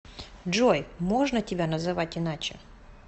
джой можно тебя называть иначе